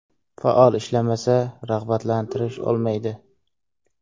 Faol ishlamasa, rag‘batlantirish olmaydi.